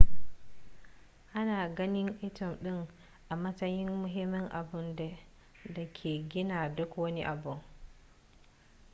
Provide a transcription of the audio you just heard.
ana ganin atom ɗin a matsayin muhimmin abun da ke gina duk wani abu